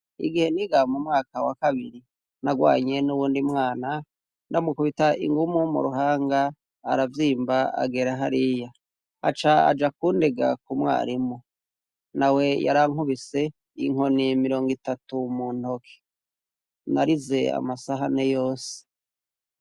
Igihe nigaa mu mwaka wa kabiri narwanye n'uwundi mwana ndamukubita ingumu mu ruhanga aravyimba agera hariya aca aja kundega ku mwarimu na we yarankubise inkoni mirongo itatu mu ntoke narize amasahane yose.